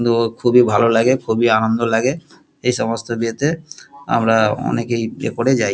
ড ও খুবই ভালো লাগে খুবই আনন্দ লাগে এসমস্ত বিয়ে তে আমরা অনেকেই নিয়ে করে যাই।